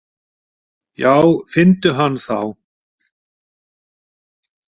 Já finndu hann þá!